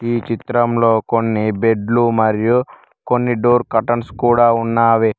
ఈ చిత్రంలో కొన్ని బెడ్లు మరియు కొన్ని డోర్ కర్టన్స్ కూడా ఉన్నావి.